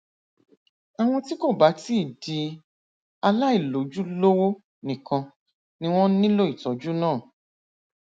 àwọn tí kò bá ti di aláìlójúlówó nìkan ni wọn nílò ìtọjú náà